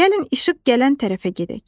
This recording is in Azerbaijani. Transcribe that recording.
Gəlin işıq gələn tərəfə gedək.